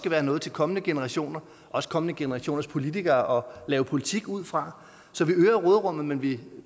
være noget til kommende generationer også kommende generationers politikere at lave politik ud fra så vi øger råderummet men vi